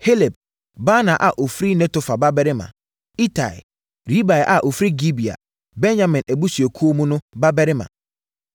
Heleb, Baana a ɔfiri Netofa babarima; Itai, Ribai a ɔfiri Gibea (Benyamin abusuakuo mu) babarima;